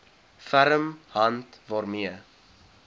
ferm hand waarmee